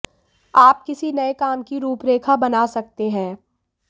आप किसी नए काम की रूपरेखा बना सकते हैं